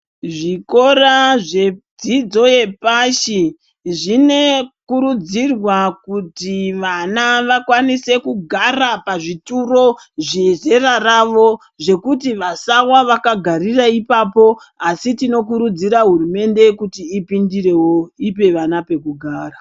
Zvikora zvedzidzo yepashi zvinokurudzirwa kuti vana vakwanise kugara pazvituru zvezera ravo zvekuti vasawa vakagara ipapo asi tinokurudzira hurumende kuti ipindire wo ipe vana pekugara.